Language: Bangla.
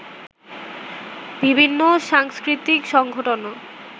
বিভিন্ন সাংস্কৃতিক সংগঠনও